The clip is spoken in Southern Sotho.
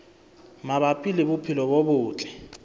mabapi le bophelo bo botle